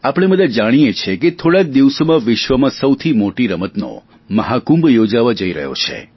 આપણે બધા જાણીએ છીએ કે થોડા જ દિવસોમાં વિશ્વમાં સૌથી મોટી રમતોનો મહાકુંભ યોજાવા જઈ રહ્યો છે